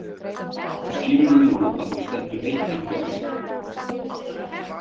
Skilurðu nú að þú stendur einn uppi á Íslandi?